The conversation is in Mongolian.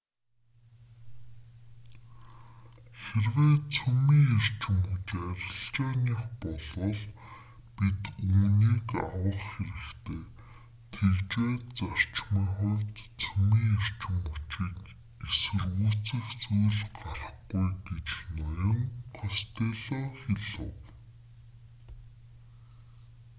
хэрвээ цөмийн эрчим хүч арилжааных болвол бид үүнийг авах хэрэгтэй тэгж байж зарчмын хувьд цөмийн эрчим хүчийг эсэргүүцэх зүйл гарахгүй гэж ноён костелло хэлэв